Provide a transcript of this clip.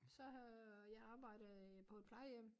Så har jeg arbejdede på et plejehjem